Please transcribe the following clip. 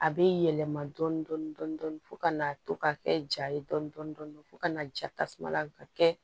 A bɛ yɛlɛma dɔɔnin dɔɔnin fo ka n'a to ka kɛ ja ye dɔɔnin dɔɔnin fo ka na ja tasuma la ka kɛ